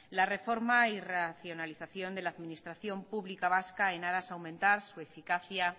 la reforma y racionalización de la administración pública vasca en aras a aumentar su eficacia